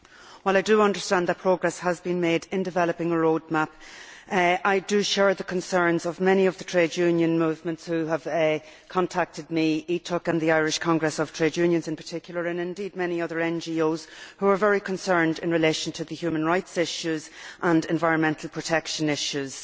While I understand that progress has been made in developing a road map, I share the concerns of many of the trade union movements which have contacted me ETUC and the Irish Congress of Trade Unions, in particular and indeed many other NGOS which are very concerned about the human rights and environmental protection issues.